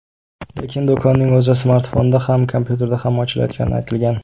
Lekin do‘konning o‘zi smartfonda ham, kompyuterda ham ochilayotgani aytilgan.